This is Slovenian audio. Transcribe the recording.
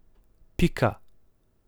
Pika.